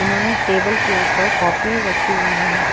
इन्होंने टेबल के ऊपर कॉपी रखी हुई है।